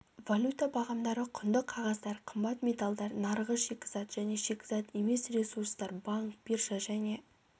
валюта бағамдары құнды қағаздар қымбат металдар нарығы шикізат және шикізат емес ресурстар банк биржа және